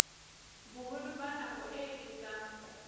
boholo ba nako e etsang